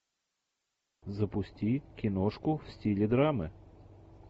запусти киношку в стиле драмы